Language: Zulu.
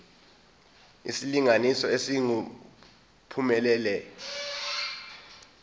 isilinganiso esingu uphumelele